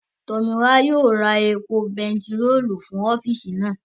Tọ̀míwá yóò ra epo bentiróòlù fún ọ́físì naa